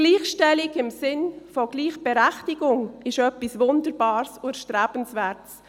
Gleichstellung im Sinne von Gleichberechtigung ist etwas Wunderbares und Erstrebenswertes.